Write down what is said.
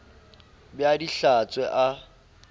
be a di hlatswe a